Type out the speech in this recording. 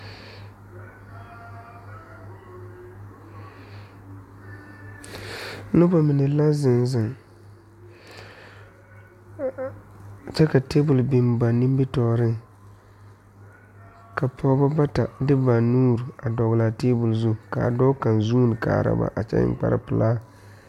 Noba mine la zeŋ zeŋ kyɛ ka table biŋ ba nimitɔɔreŋ ka pɔgeba bata de ba nuure a dɔgle a table zu ka dɔɔ kaŋ vuune kaara ba a kyɛ eŋ kparepelaa.